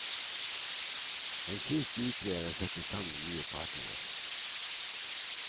En siste utvei er å sette sammen nye partnere.